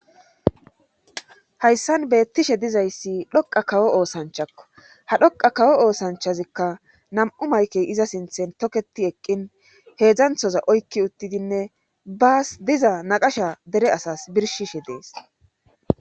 hayssan beettishe dizayssi dhoqa kawo oosanchakko ha dhoqa kawo oosanchazikka nam7u maykey iza sinthen toketi eqqin heedzdzanthoza oykki uttidinne baas diza naqasha dere asas birshishe dees